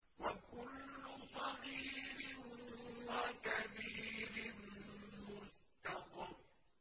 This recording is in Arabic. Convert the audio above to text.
وَكُلُّ صَغِيرٍ وَكَبِيرٍ مُّسْتَطَرٌ